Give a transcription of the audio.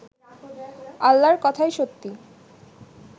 আল্লাহর কথাই সত্যি